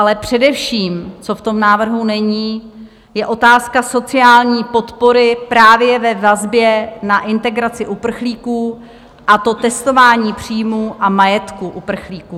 Ale především, co v tom návrhu není, je otázka sociální podpory právě ve vazbě na integraci uprchlíků, a to testování příjmu a majetku uprchlíků.